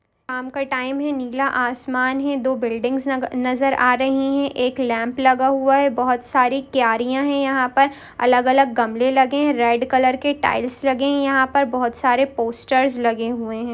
शाम का टाइम है नीला आसमान है दो बिल्डिंग्स न-नज़र आ रही है एक लैंप लगा हुआ है बहुत सारी क्यारियां है यहाँ पर अलग-अलग गमले लगे है रेड कलर के टाइल्स लगे है यहाँ पर बहुत सारे पोस्टर्स लगे हुए है।